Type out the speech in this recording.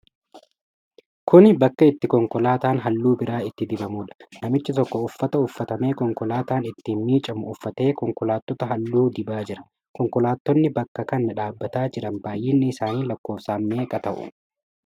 Kuni bakka itti konkolaataan halluu biraa itti dibamuudha. Namichi tokko uffata uffatamee konkolaataan ittiin miicamu uffatee konkolaattota halluu dibaa jira. Konkolaattonni bakka kana dhaabataaa jiran baay'inni isaanii lakkoofsaan meeqa ta'u?